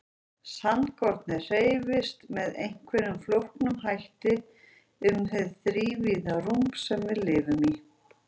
Sandkornið hreyfist með einhverjum flóknum hætti um hið þrívíða rúm sem við lifum í.